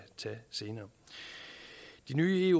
tage senere de nye